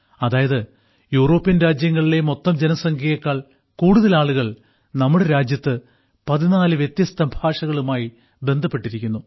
അതായത് യൂറോപ്യൻ രാജ്യങ്ങളിലെ മൊത്തം ജനസംഖ്യയേക്കാൾ കൂടുതൽ ആളുകൾ നമ്മുടെ രാജ്യത്ത് 14 വ്യത്യസ്ത ഭാഷകളുമായി ബന്ധപ്പെട്ടിരിക്കുന്നു